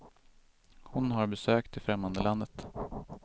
Hon har besökt det främmande landet.